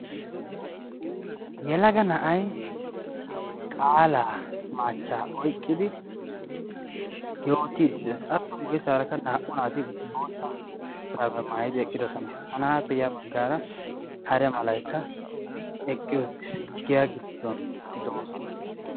Yelaga na"ai qaalaa maachchaa oyqqidi yootiidi de'ees. Appe guyesaarakka naa"u naati bootta shuraabiya maayidi eqqidosona. Ha na"aappe yaa baggaara hare malaikka eqqi uttiis. Giyaa giddon doosona.